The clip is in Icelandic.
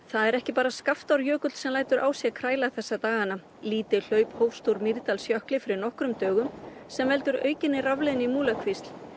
það er ekki bara sem lætur á sér kræla þessa dagana lítið hlaup hófst úr Mýrdalsjökli fyrir nokkrum dögum sem veldur aukinni rafleiðni í Múlakvísl